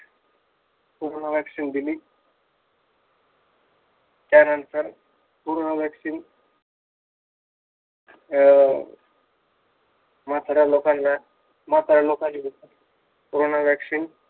Corona vaccine दिली. त्यानंतर corona vaccine अं म्हाताऱ्या लोकांना म्हाताऱ्या